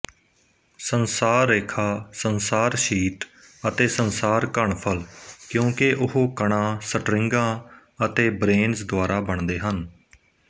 ਸੰਸਾਰ ਰੇਖਾ ਸੰਸਾਰਸ਼ੀਟ ਅਤੇ ਸੰਸਾਰ ਘਣਫਲ ਕਿਉਂਕਿ ਉਹ ਕਣਾਂ ਸਟਰਿੰਗਾਂ ਅਤੇ ਬਰੇਨਜ਼ ਦੁਆਰਾ ਬਣਦੇ ਹਨ